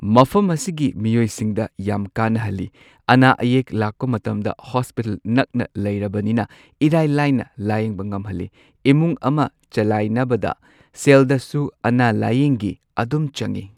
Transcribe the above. ꯃꯐꯝ ꯑꯁꯤꯒꯤ ꯃꯤꯑꯣꯏꯁꯤꯡꯗ ꯌꯥꯝ ꯀꯥꯟꯅꯍꯜꯂꯤ ꯑꯅꯥ ꯑꯌꯦꯛ ꯂꯥꯛꯄ ꯃꯇꯝꯗ ꯍꯣꯁꯄꯤꯇꯥꯜ ꯅꯛꯅ ꯂꯩꯔꯕꯅꯤꯅ ꯏꯔꯥꯏ ꯂꯥꯏꯅ ꯂꯥꯌꯦꯡꯕ ꯉꯝꯍꯜꯂꯤ ꯏꯃꯨꯡ ꯑꯃ ꯆꯂꯥꯏꯅꯕꯗ ꯁꯦꯜꯗꯁꯨ ꯑꯅꯥ ꯂꯥꯌꯦꯡꯒꯤ ꯑꯗꯨꯝ ꯆꯪꯉꯤ꯫